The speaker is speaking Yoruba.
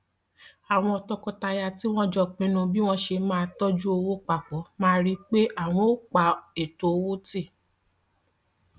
àwọn tọkọtaya tí wọn jọ pinnu bí wọn ṣe máa tọjú owó pa pọ máa rí pé àwọn ò pa ètò owó tì